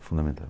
fundamental.